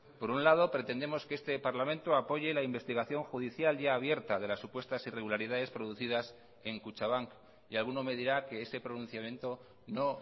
por un lado pretendemos que este parlamento apoye la investigación judicial ya abierta de las supuestas irregularidades producidas en kutxabank y alguno me dirá que ese pronunciamiento no